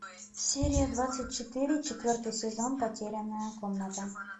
серия двадцать четыре четвертый сезон потерянная комната